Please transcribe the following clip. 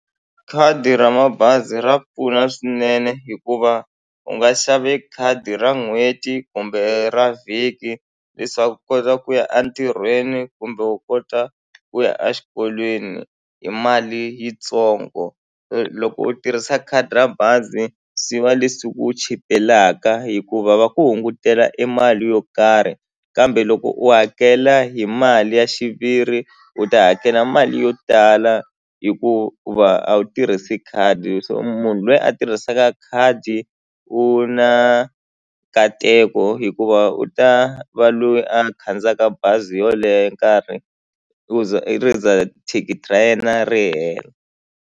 Khadi ra mabazi ra pfuna swinene hikuva u nga xave khadi ra n'hweti kumbe ra vhiki leswaku u kota ku ya a ntirhweni kumbe u kota ku ya a xikolweni hi mali yitsongo loko u tirhisa khadi ra bazi swi va leswi ku chipelaka hikuva va ku hungutela e mali yo karhi kambe loko u hakela hi mali ya xiviri u ta hakela mali yo tala hikuva a wu tirhisi khadi so munhu lweyi a tirhisaka khadi u na nkateko hikuva u ta va loyi a khandziyaka bazi yoleye nkarhi u za i ri za thikithi ra yena ri hela.